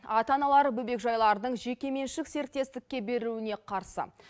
ата аналары бөбекжайлардың жеке меншік серіктестікке беруіне қарсы